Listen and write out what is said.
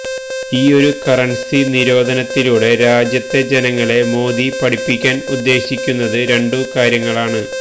ഈയൊരു കറൻസി നിരോധനത്തിലൂടെ രാജ്യത്തെ ജനങ്ങളെ മോദി പഠിപ്പിക്കാൻ ഉദ്ദേശിക്കുന്നത് രണ്ടു കാര്യങ്ങളാണ്